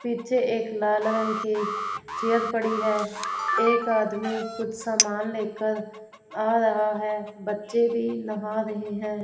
पीछे एक लाल रंग की चेयर पड़ी है एक आदमी कुछ सामान लेकर आ रहा हैं बच्चे भी नहा रहे हैं।